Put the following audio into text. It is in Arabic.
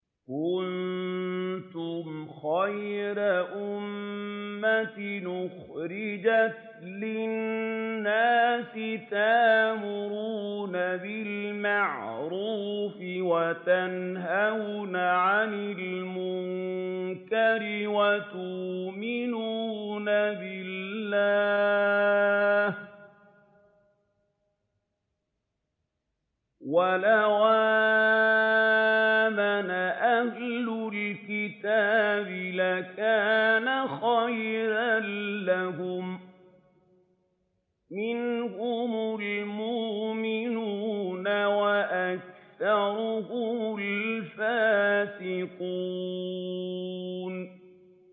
كُنتُمْ خَيْرَ أُمَّةٍ أُخْرِجَتْ لِلنَّاسِ تَأْمُرُونَ بِالْمَعْرُوفِ وَتَنْهَوْنَ عَنِ الْمُنكَرِ وَتُؤْمِنُونَ بِاللَّهِ ۗ وَلَوْ آمَنَ أَهْلُ الْكِتَابِ لَكَانَ خَيْرًا لَّهُم ۚ مِّنْهُمُ الْمُؤْمِنُونَ وَأَكْثَرُهُمُ الْفَاسِقُونَ